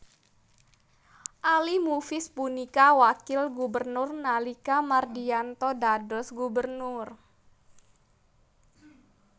Ali Mufiz punika wakil gubernur nalika Mardiyanto dados gubernur